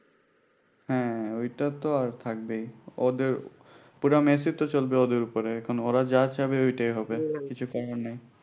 হ্যাঁ ওইটা তো আর থাকবেই ওদের পুরা মেসই তো চলবে ওদের উপরে এখন ওরা যা চাইবে ওইটাই হবে কিছু করার নাই